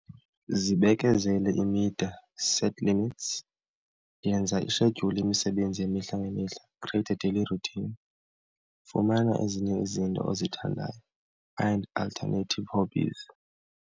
Zibekezele imida, set limits. Yenza ishedyuli yemisebenzi yemihla ngemihla, create a daily routine. Fumana ezinye izinto ozithandayo, find alternative hobbies.